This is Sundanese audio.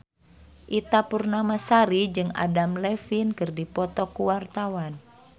Ita Purnamasari jeung Adam Levine keur dipoto ku wartawan